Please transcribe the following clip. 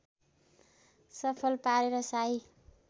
सफल पारेर शाही